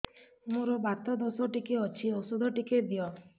ମୋର୍ ବାତ ଦୋଷ ଟିକେ ଅଛି ଔଷଧ ଟିକେ ଦିଅ